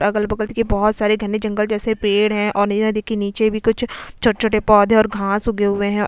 अगल बगल देखिए बहुत सारे घने जंगल जैसे पेड़ हैं और देखिए नीचे भी कुछ छोटे-छोटे पौधे और घांस उगे हुए हैं।